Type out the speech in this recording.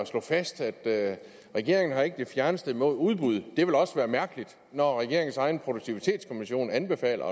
slå fast at regeringen ikke har det fjerneste imod udbud det ville også være mærkeligt når regeringens egen produktivitetskommission anbefaler